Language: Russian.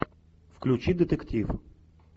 включи детектив